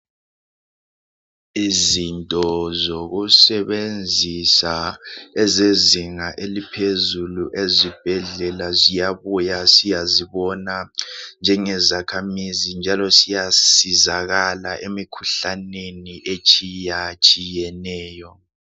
Izinto zokusebenzisa ezezinga eliphezulu ezibhedlela ziyabuya siyazibona njenge zakhamizi njalo siyasizakala emikhuhlaneni etshiyatshiyeneyo